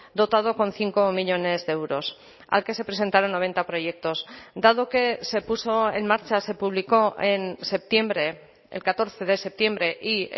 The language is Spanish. dotado con cinco millónes de euros al que se presentaron noventa proyectos dado que se puso en marcha se publicó en septiembre el catorce de septiembre y